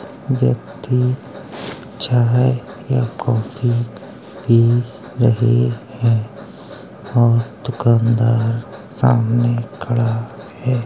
व्यक्ति चाय या कॉफ़ी पी रहे हैं। और दुकानदार सामने खड़ा है।